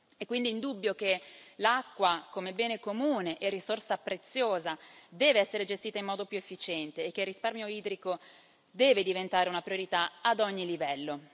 È quindi indubbio che l'acqua come bene comune e risorsa preziosa deve essere gestita in modo più efficiente e che il risparmio idrico deve diventare una priorità ad ogni livello.